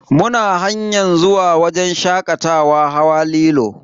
Muna hanyar zuwa wajen shakatawa hawa lilo.